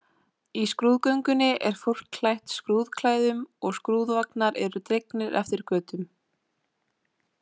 Í skrúðgöngunni er fólk klætt skrúðklæðum og skrúðvagnar eru dregnir eftir götunum.